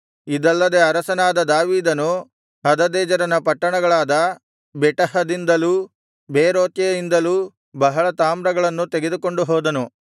ಇದಲ್ಲದೆ ಅರಸನಾದ ದಾವೀದನು ಹದದೆಜೆರನ ಪಟ್ಟಣಗಳಾದ ಬೆಟಹದಿಂದಲೂ ಬೇರೋತೈಯಿಂದಲೂ ಬಹಳ ತಾಮ್ರವನ್ನು ತೆಗೆದುಕೊಂಡು ಹೋದನು